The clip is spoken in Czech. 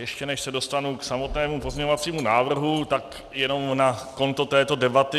Ještě než se dostanu k samotnému pozměňovacímu návrhu, tak jenom na konto této debaty.